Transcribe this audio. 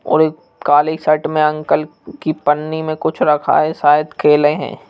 और एक काली शर्ट में अंकल की पन्नी में कुछ रखा है शायद खेले हैं।